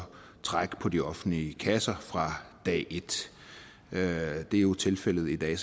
trække på de offentlige kasser fra dag et det er jo tilfældet i dag